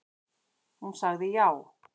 Hún sagði já.